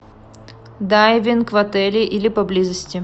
дайвинг в отеле или поблизости